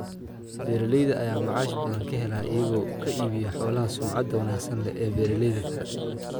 Beeralayda ayaa macaash badan ka hela iyaga oo ka iibiya xoolaha sumcadda wanaagsan leh ee beeralayda kale.